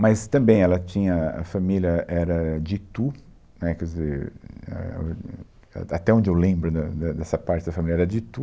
Mas também ela tinha a a família era de Itu, né, quer dizer, éh, até onde eu lembro de de dessa parte da família era de Itu.